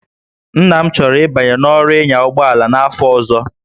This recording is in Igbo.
Nna m chọrọ ịbanye n'ọrụ ịnya ụgbọ ala n'afọ ọzọ